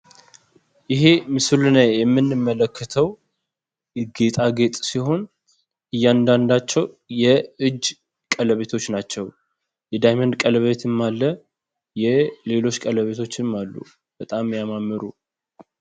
ይሄ ምስሉ ላይ የምንመለከተው ጌጣጌጥ ሲሆን እያንዳንዳቸው የእጅ ቀለበቶች ናቸው። የዳመንድ ቀለበትም አለ። የሌሎች ቀለበቶችም አሉ። በጣም የሚያማምሩ።